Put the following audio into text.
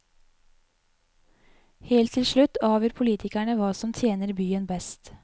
Helt til slutt avgjør politikerne hva som tjener byen best.